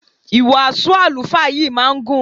Ìwàásù àlùfáà yìí máa ń gùn.